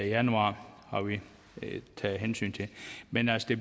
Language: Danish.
januar har vi taget hensyn til men altså det